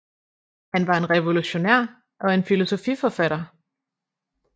Han var en revolutionær og en filosofiforfatter